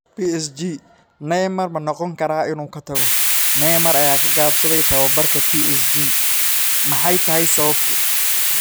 PSG: Neymar ma noqon karaa inuu ka tago? Neymar ayaa ka gaabsaday tababarka PSG - maxay tahay sababtu?